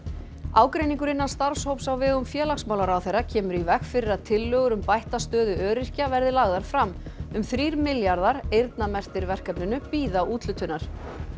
ágreiningur innan starfshóps á vegum félagsmálaráðherra kemur í veg fyrir að tillögur um bætta stöðu öryrkja verði lagðar fram um þrír milljarðar eyrnamerktir verkefninu bíða úthlutunar